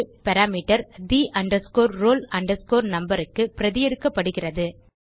parameter the roll numberக்கு பிரதி எடுக்கப்படுகிறது